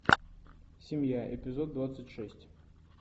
семья эпизод двадцать шесть